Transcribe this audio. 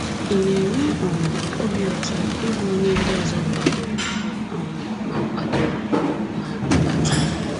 Ị̀ na-enwe um obi ụtọ ịbụ onye ndị ọzọ kwadoro um ma kwadoro um ma nabata?